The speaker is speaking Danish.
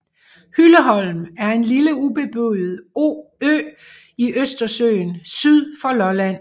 Hylleholm er en lille ubeboet ø i Østersøen syd for Lolland